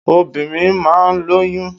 Obìnrin máa ń lóyún.